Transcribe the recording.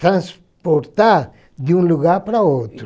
transportar de um lugar para outro.